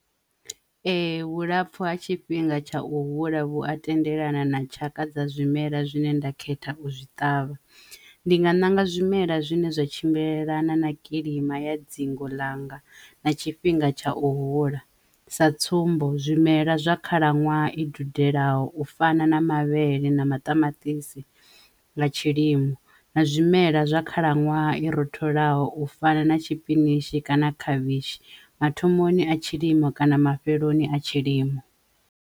Ee, vhulapfu ha tshifhinga tsha u hula vhu a tendelana na tshaka dza zwimela zwine nda khetha u zwi ṱavha ndi nga ṋanga zwimela zwine zwa tshimbilelana na kilima ya dzingo langa na tshifhinga tsha u hula sa tsumbo zwimela zwa khalaṅwaha i dudelaho u fana na mavhele na maṱamaṱisi nga tshilimo, na zwimela zwa khalaṅwaha i ro tholwaho u fana na tshipinitshi kana khavhishi mathomoni a tshilimo kana mafheloni a tshilimo.